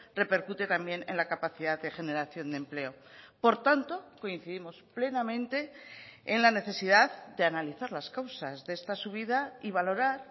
repercute también en la capacidad de generación de empleo por tanto coincidimos plenamente en la necesidad de analizar las causas de esta subida y valorar